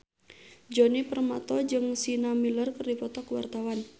Djoni Permato jeung Sienna Miller keur dipoto ku wartawan